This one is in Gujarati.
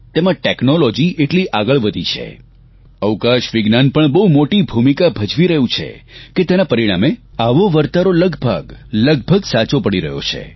તેમાં ટેકનોલોજી એટલી આગળ વધી છે અવકાશ વિજ્ઞાન પણ બહુ મોટી ભૂમિકા ભજવી રહ્યું છે કે તેના પરિણામે આવો વરતારો લગભગ લગભગ સાચો પડી રહ્યો છે